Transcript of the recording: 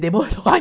Demorou.